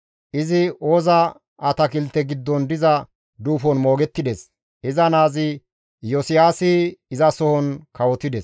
Izi Ooza atakilte giddon diza duufon moogettides; iza naazi Iyosiyaasi izasohon kawotides.